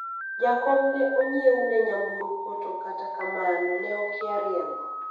jakom ne onyiewne nyamburko to kata kamano ,ne okia riembo